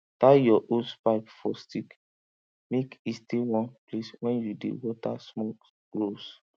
tie your hosepipe for stick make e stay one place when you dey water small rows